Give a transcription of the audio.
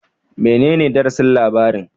Menene darasin labarin